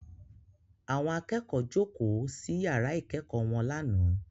Àwọn akẹ́kọ̀ọ́ jókòó sí yàrá ìkẹ́kọ̀ọ́ wọn lánàá